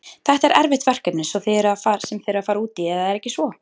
Þetta er erfitt verkefni sem þið eruð að fara út í eða er ekki svo?